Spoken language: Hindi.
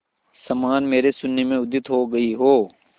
समान मेरे शून्य में उदित हो गई हो